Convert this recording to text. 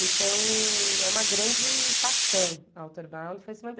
Então é uma grande paixão a Outerbound foi se